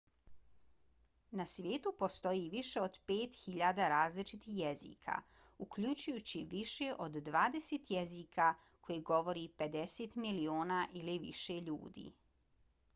na svijetu postoji više od 5.000 različitih jezika uključujući više od dvadeset jezika koje govori 50 miliona ili više ljudi